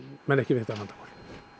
menn ekki við þetta vandamál